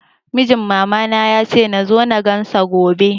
Mijin mama na ya ce nazo na gan sa gobe